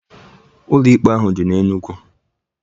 Ụlọ ikpe ahụ dị na Enugu.